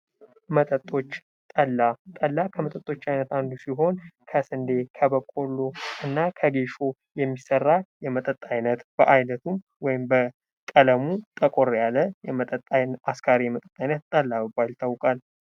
መጠጦች ጠላ ጠላ ከመጠጦች አይነት አንዱ ሲሆን፤ ከስንዴ፣ ከበቆሎ እና ከጌሾ የሚሰራ የመጠጥ ዓይነት በዓይነቱም ወይም በ ቀለሙ ጠቆር ያለ አስካሪ መጠጥ አይነት ጠላ በመባል ይታወቃል።